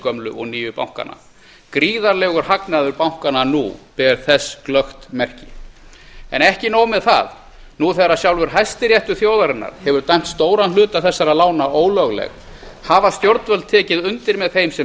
gömlu og nýju bankana gríðarlegur hagnaður bankanna nú ber þess glöggt merki en ekki nóg með það nú þegar sjálfur hæstiréttur þjóðarinnar hefur dæmt stóran hluta þessara lána ólögleg hafa stjórnvöld tekið undir með þeim sem